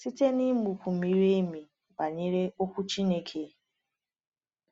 Site n’ịmụkwu miri emi banyere Okwu Chineke.